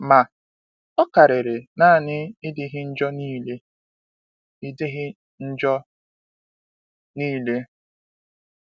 Ma, ọ karịrị naanị ịdịghị njọ niile. ịdịghị njọ niile.